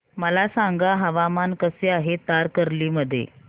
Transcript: मला सांगा हवामान कसे आहे तारकर्ली मध्ये